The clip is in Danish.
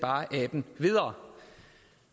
aben videre